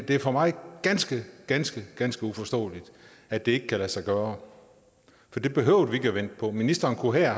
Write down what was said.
det er for mig ganske ganske ganske uforståeligt at det ikke kan lade sig gøre for det behøvede vi ikke at vente på ministeren kunne her